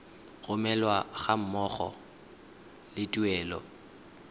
romelwa ga mmogo le tuelo